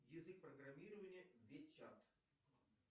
язык программирования вечат